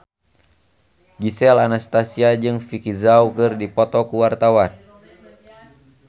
Gisel Anastasia jeung Vicki Zao keur dipoto ku wartawan